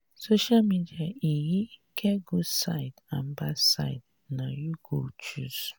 social media um get good side and bad side na you go choose.